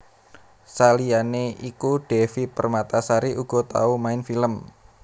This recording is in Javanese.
Saliyané iku Devi Permatasari uga tau main film